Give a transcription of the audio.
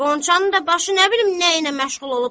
Qonşunun da başı nə bilim nəylə məşğul olub.